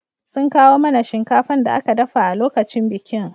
Sun kawo mana shinkafan da aka dafa a lokacin bikin